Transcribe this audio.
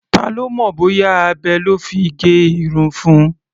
Ta ló mọ̀ bóyá abẹ lọ́ fi gé irun fun?